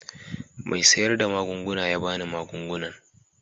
Mai sayar da magunguna ya ba ni magungunan.